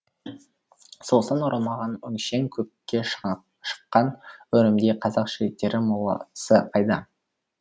соғыстан оралмаған өңшең көкке шыққан өрімдей қазақ жігіттері моласы қайда